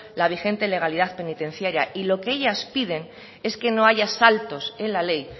la vigente legalidad penitenciaria y lo que ellas piden es que no haya saltos en la ley